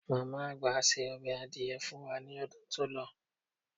Màmá àgbà ṣe ọbẹ̀ adìẹ fun wá ní ọdún tó lọ.